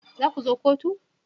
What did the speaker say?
Za ku zo kotu